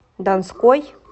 донской